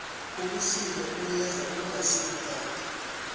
ubusika buyeza kungasikudala